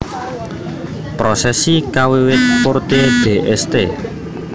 Prosesi kawiwit Porte de St